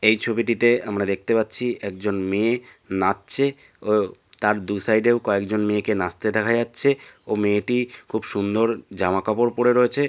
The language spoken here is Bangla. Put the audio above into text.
এই ছবিটিতে আমরা দেখতে পাচ্ছি একজন মেয়ে নাচছে ও তার দু সাইডের কয়েকজন মেয়েকে নাচতে দেখা যাচ্ছে ও মেয়েটি খুব সুন্দর জামা কাপড় পড়ে রয়েছে।